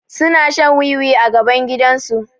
Suna shan wiwi a gaban gidan su